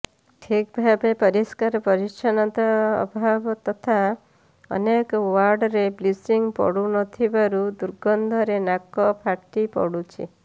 ଠିକ୍ଭାବେ ପରିଷ୍କାର ପରିଚ୍ଛନ୍ନତା ଅଭାବ ତଥା ଅନେକ ୱାର୍ଡରେ ବ୍ଲିଚିଂ ପଡୁ ନଥିବାରୁ ଦୁର୍ଗନ୍ଧରେ ନାକ ଫାଟି ପଡ଼ୁଛି